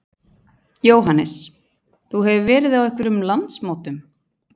Jóhannes: Þú hefur verið á einhverjum landsmótum?